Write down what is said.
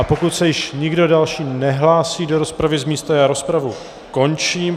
A pokud se již nikdo další nehlásí do rozpravy z místa, rozpravu končím.